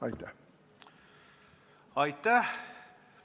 Aitäh!